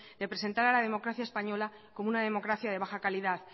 de presentar a la democracia española como una democracia de baja calidad